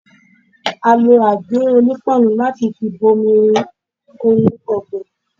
A lo àgé-onípáànù láti fi bomi-rin ohun ọ̀gbìn.